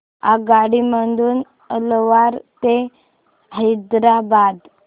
आगगाडी मधून अलवार ते हैदराबाद